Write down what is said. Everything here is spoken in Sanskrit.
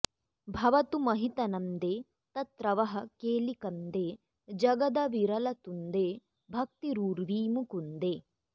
भवतु महितनन्दे तत्र वः केलिकन्दे जगदविरलतुन्दे भक्तिरुर्वी मुकुन्दे